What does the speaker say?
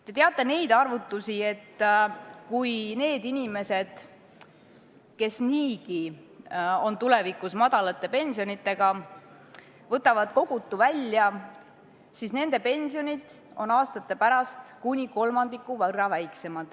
Te teate arvutusi, mis näitavad, et kui need inimesed, kes niigi hakkavad tulevikus saama väikest pensionit, võtavad kogutu välja, siis nende pension on aastate pärast kuni kolmandiku võrra väiksem.